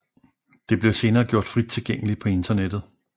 Det blev senere gjort frit tilgængeligt på internettet